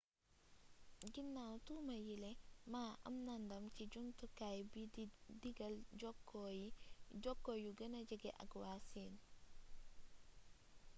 guinaw tuuma yiile ma am na ndam ci jamtukaay bi di diggal jokko yu gëna jege ak waa siin